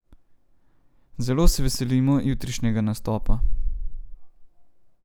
Zelo se veselimo jutrišnjega nastopa.